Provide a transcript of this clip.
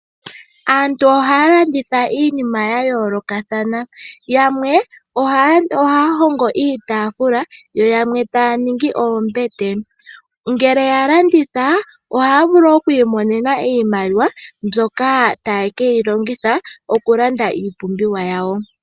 Aantu ohaalanditha iinima yayolokathana, yamwe ohaahongo iitafula, yo yamwe taaningi oombete ngele yalanditha ohaavulu okumona iimaliwa ndjoka haye keyilongotha okulanda oompumbwe dhawo dhakehe siku.